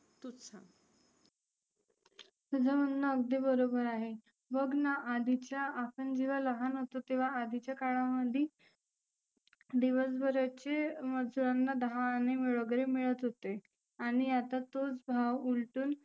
तुझ म्हणनं अगदी बरोबर आहे. बघना आधिच्या आपण जेव्हा लहान होतो तेव्हा आधिच्या काळामध्ये दिवसभर याचे मजुरांना दहा आने वगैरे मिळत होते. आणि आता तोच भाव उलटुन